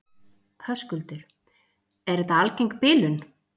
Höskuldur: Er þetta algeng bilun?